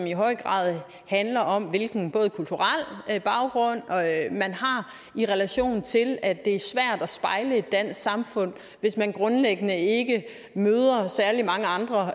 i høj grad handler om hvilken kulturel baggrund man har i relation til at det er svært at spejle et dansk samfund hvis man grundlæggende ikke møder særlig mange andre